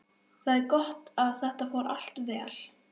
Það er gott að þetta fór allt vel.